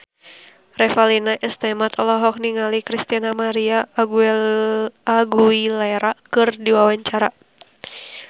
Revalina S. Temat olohok ningali Christina María Aguilera keur diwawancara